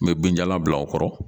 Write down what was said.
N bɛ binjalan bila o kɔrɔ